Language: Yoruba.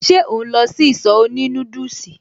Ṣe ò ń lọ sí ìsọ̀ òní núdùsì?